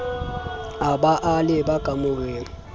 a ba a leba kamoreng